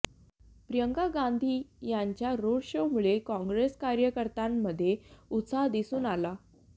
प्रियंका गांधी यांच्या रोड शोमुळे काँग्रेस कार्यकर्त्यांमध्ये उत्साह दिसून आला